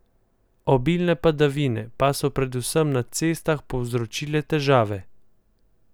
Obilne padavine pa so predvsem na cestah povzročile težave.